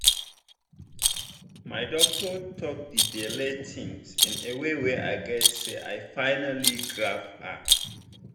my doctor talk the belle thing in way wey i gatz say i finally grab am.